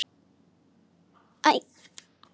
Þarftu ekki að.?